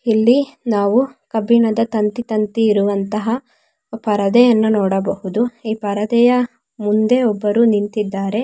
ಇಲ್ಲಿ ನಾವು ಕಬ್ಬಿಣದ ತಂತಿ ತಂತಿ ಇರುವಂತಹ ಪರದೆಯನ್ನು ನೋಡಬಹುದು ಈ ಪರದೆಯ ಮುಂದೆ ಒಬ್ಬರು ನಿಂತ್ತಿದ್ದಾರೆ.